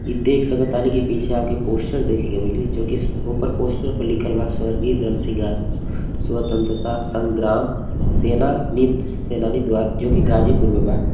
इ देख सकतानी की पीछे आपके पोस्टर देखे के मिली जो की ऊपर पोस्टर पे लिखल बा स्वर्गीय दल सिंगार स्वतंत्रता संग्राम सेना निध सेनानी द्वार जो की गाजीपुर में बा।